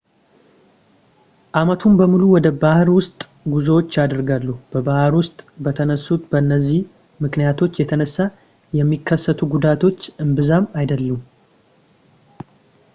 ዓመቱን በሙሉ ወደ ባህር ውስጥ ጉዞዎች ይደረጋሉ በባህር ውስጥ በተነሱት በእነዚህ ምክንያቶች የተነሳ የሚከሰቱ ጉዳቶች እምብዛም አይደሉም